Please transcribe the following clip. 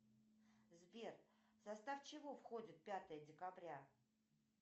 сбер в состав чего входит пятое декабря